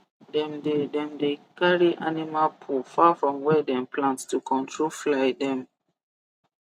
dem dey dem dey carry animal poo far from where dem plant to control fly dem